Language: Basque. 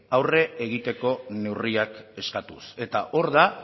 aurre egiteko neurriak eskatuz eta hor da